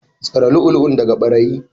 Tsare lu'ulu'un daga ɓarayi.